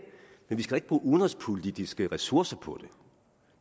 men vi skal da ikke bruge udenrigspolitiske ressourcer på